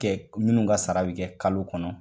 Kɛ minnu ka sara bi kɛ kalo kɔnɔ.